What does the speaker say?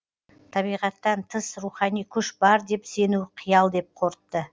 табиғаттан тыс рухани күш бар деп сену қиял деп қорытты